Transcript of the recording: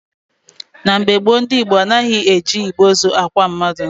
Na mgbe gboo, ndị Igbo anaghị eji igbe ozu akwa mmadụ.